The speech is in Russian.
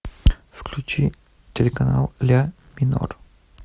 включи телеканал ля минор